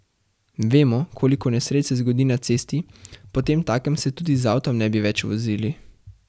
Vemo, koliko nesreč se zgodi na cesti, potemtakem se tudi z avtom ne bi več vozil.